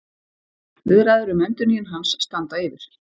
Viðræður um endurnýjun hans standa yfir